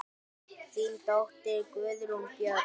Þín dóttir, Guðrún Björg.